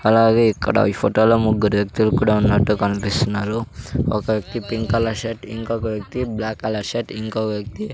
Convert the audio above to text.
అలాగే ఇక్కడ ఈ ఫోటో లో ముగ్గురు వ్యక్తులు కూడా ఉన్నట్టు కన్పిస్తున్నారు ఒక వ్యక్తి పింక్ కలర్ షర్ట్ ఇంకొక వ్యక్తి బ్లాక్ కలర్ షర్ట్ ఇంకో వ్యక్తి --